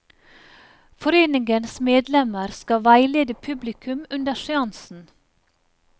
Foreningens medlemmer skal veilede publikum under seansen.